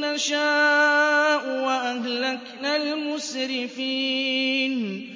نَّشَاءُ وَأَهْلَكْنَا الْمُسْرِفِينَ